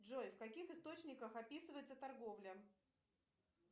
джой в каких источниках описывается торговля